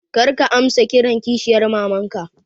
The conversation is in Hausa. Kar ka amsa kiran kishiyar mamanka